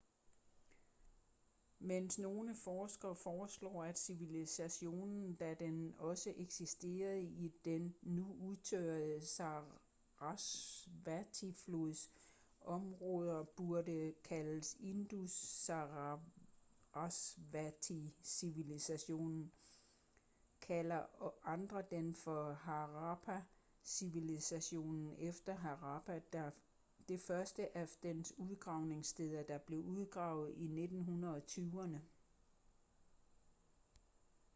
mens nogle forskere foreslår at civilisationen da den også eksisterede i den nu udtørrede sarasvati-flods områder burde kaldes indus-sarasvati-civilisationen kalder andre den for harappa-civilisationen efter harappa det første af dens udgravningssteder der blev udgravet i 1920'erne